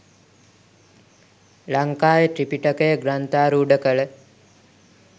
ලංකාවේ ත්‍රිපිටකය ග්‍රන්ථාරූඪ කළ